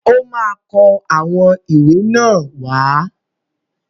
Ọ́ ma kó àwọn ìwé náà wá.